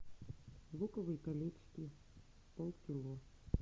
луковые колечки полкило